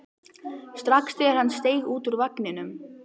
strax þegar hann steig út úr vagninum.